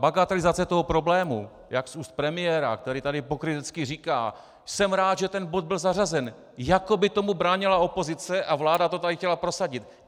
Bagatelizace toho problému jak z úst premiéra, který tady pokrytecky říká "jsem rád, že ten bod byl zařazen", jako by tomu bránila opozice a vláda to tady chtěla prosadit.